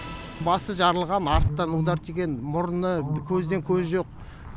басы жарылған артына удар тиген мұрны көзден көз жоқ